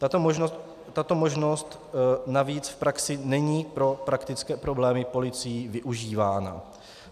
Tato možnost navíc v praxi není pro praktické problémy policií využívána.